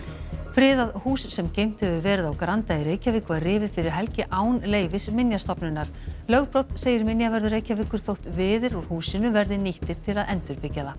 friðað hús sem geymt hefur verið á Granda í Reykjavík var rifið fyrir helgi án leyfis Minjastofnunar lögbrot segir minjavörður Reykjavíkur þótt viðir úr húsinu verði nýttir til að endurbyggja það